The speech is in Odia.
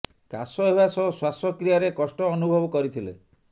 କାଶ ହେବା ସହ ଶ୍ୱାସ କ୍ରିୟାରେ କଷ୍ଟ ଅନୁଭବ କରିଥିଲେ